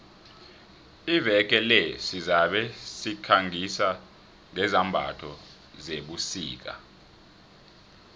iveke le sizabe sikhangisa ngezambatho zebusika